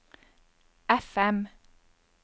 FM